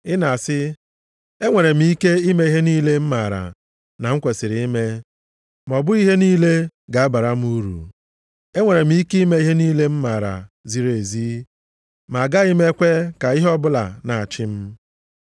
Ị na-asị, “Enwere m ike ime ihe niile m maara na m kwesiri ime,” ma ọ bụghị ihe niile ga-abara m uru. “Enwere m ike ime ihe niile m maara ziri ezi,” ma a gaghị ekwe ka ihe ọbụla na-achị m.